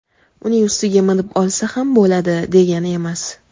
uning ustiga minib olsa ham bo‘ladi degani emas.